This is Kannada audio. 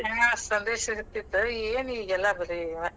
ಹಾ ಸಂದೇಶ ಇರ್ತಿತ್ತ್ ಏನ್ ಈಗೆಲ್ಲಾ ಬರೇ ಇವ್.